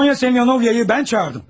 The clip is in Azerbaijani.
Sonya Semyonovyanı mən çağırdım.